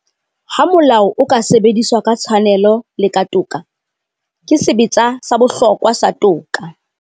Ha molao o ka sebediswa ka tshwanelo le ka toka, ke sebetsa sa bohlokwa sa toka.